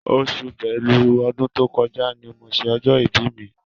Oṣù Bélú ọdún tó kọjá ni mo ṣe ọjọ́ ibi mi.